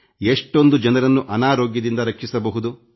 ಎಷ್ಟೊಂದು ಜನರನ್ನು ಅನಾರೋಗ್ಯದಿಂದ ರಕ್ಷಿಸಬಹುದು